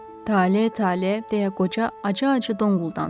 Tale, Tale, deyə qoca acı-acı donquldandı.